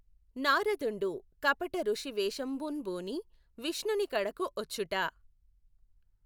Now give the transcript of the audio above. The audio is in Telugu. నారదుఁడు కపటఋషి వేషంబుంబూని విష్ణునికడకు వచ్చుట